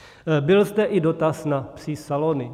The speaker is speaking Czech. Byl zde i dotaz na psí salony.